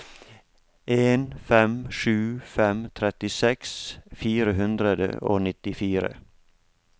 en fem sju fem trettiseks fire hundre og nittifire